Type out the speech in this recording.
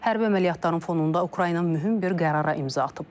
Hərbi əməliyyatların fonunda Ukrayna mühüm bir qərara imza atıb.